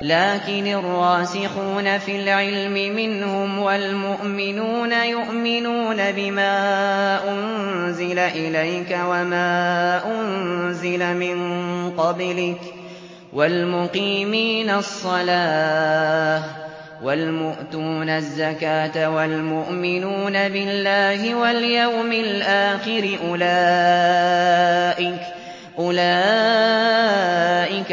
لَّٰكِنِ الرَّاسِخُونَ فِي الْعِلْمِ مِنْهُمْ وَالْمُؤْمِنُونَ يُؤْمِنُونَ بِمَا أُنزِلَ إِلَيْكَ وَمَا أُنزِلَ مِن قَبْلِكَ ۚ وَالْمُقِيمِينَ الصَّلَاةَ ۚ وَالْمُؤْتُونَ الزَّكَاةَ وَالْمُؤْمِنُونَ بِاللَّهِ وَالْيَوْمِ الْآخِرِ أُولَٰئِكَ